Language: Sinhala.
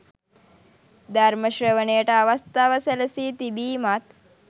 ධර්ම ශ්‍රවණයට අවස්ථාව සැලසී තිබීමත්